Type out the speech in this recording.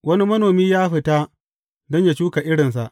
Wani manomi ya fita don yă shuka irinsa.